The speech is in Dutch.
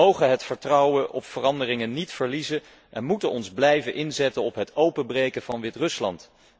Wij mogen het vertrouwen in veranderingen niet verliezen en moeten ons blijven inzetten voor het openbreken van Wit Rusland.